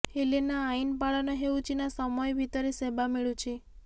ହେଲେ ନା ଆଇନ ପାଳନ ହେଉଛି ନା ସମୟ ଭିତରେ ସେବା ମିଳୁଛି